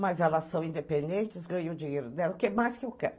Mas elas são independentes, ganham o dinheiro dela, o que mais que eu quero?